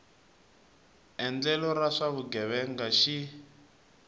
endlelo ra swa vugevenga xi